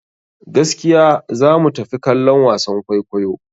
Gaskiya za mu tafi kallon wasan kwaikwayo.